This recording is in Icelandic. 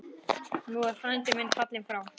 Nú er frændi fallinn frá.